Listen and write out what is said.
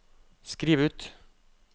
skriv ut